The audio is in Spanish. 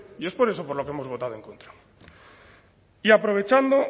y es por eso por lo que hemos votado en contra y aprovechando